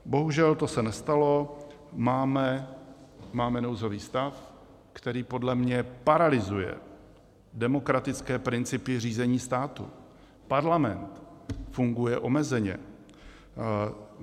Bohužel to se nestalo, máme nouzový stav, který podle mě paralyzuje demokratické principy řízení státu, Parlament funguje omezeně.